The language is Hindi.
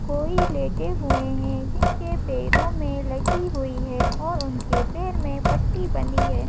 कोई लेटे हुए हैं जिनके पैरों में लगी हुई है और उनके पैर में पट्टी बनी है।